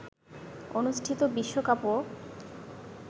অনুষ্ঠিত বিশ্বকাপও